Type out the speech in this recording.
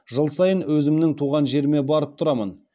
жыл сайын өзімнің туған жеріме барып тұрамын